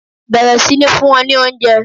Bẹ̀rẹ̀ sí ní fún wọn ní oúnjẹ